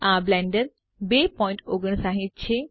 આ બ્લેન્ડર 259 છે